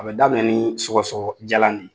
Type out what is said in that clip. A bɛ daminɛ ni sɔgɔsɔgɔ jalan ye.